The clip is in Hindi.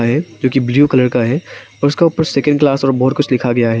है जो कि ब्लू कलर का है और उसका ऊपर सेकंड क्लास और बहोत कुछ लिखा गया है।